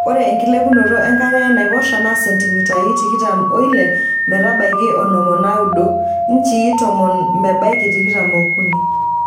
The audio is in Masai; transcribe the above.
Ore enkilepunoto enkare enaiposha naa sentimitai tikitam oile metabaiki onom onaaudo[inchii tomon mebaiki tikitam ookuni].